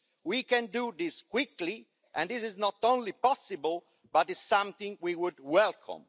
We can do this quickly, and this is not only possible but is something we would welcome.